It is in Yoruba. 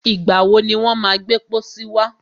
Ìgbà wọ ni wọ́n má gbẹ́ pọ́sí wá?